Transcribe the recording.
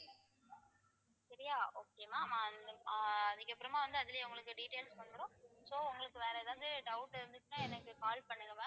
சரியா okay வா ma'am ஆஹ் அதுக்கப்புறமா வந்து அதிலேயே உங்களுக்கு details வந்துடும் so உங்களுக்கு வேற ஏதாவது doubt இருந்துச்சுன்னா எனக்கு call பண்ணுங்க ma'am